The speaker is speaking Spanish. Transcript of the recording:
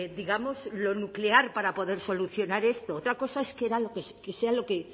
digamos lo nuclear para poder solucionar esto otra cosa es que sea lo que